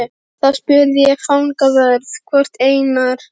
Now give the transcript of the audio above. Þá spurði ég fangavörð hvort Einar